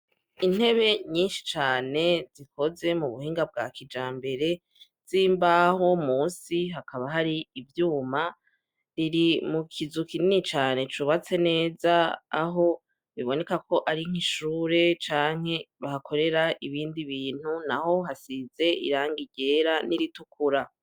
Intebe nyinshi cane zikoze mu buhinga bwa kija mbere z'imbaho musi hakaba hari ivyuma riri mu kizu kinini cane cubatse neza aho biboneka ko ari nk'ishure canke bahakorera ibindi bintu na ho hasize iranga ryerai ritukura.